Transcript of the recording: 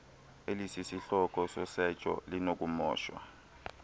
elisisihloko sosetsho linokumoshwa